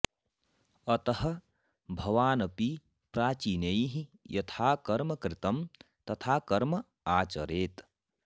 अतः भवान् अपि प्राचीनैः यथा कर्म कृतं तथा कर्म आचरेत्